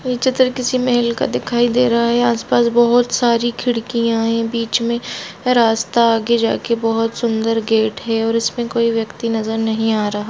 ये चित्र किसी महल का दिखाई दे रहा है आस-पास बहुत सारी खिड़कियां है बीच मे रास्ता आगे जाके बहुत सुंदर गेट है और इसमें कोई व्यक्ति नजर नही आ रहा है।